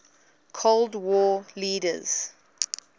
cold war leaders